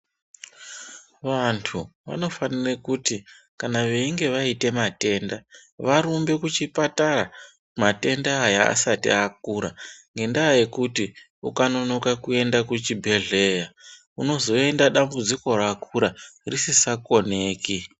Vanthu vanofanire kuti kana veinge vaite matenda vvanofanire kuti varumbe kuchipatara matenda Aya asati akura ngendaa yekuti ukanonoka kuenda kuchibhedhleya unozoenda dambudziko rakura ririsa koneki.